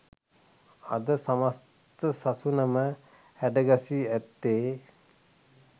අද සමස්ථ සසුනම හැඩගැසී ඇත්තේ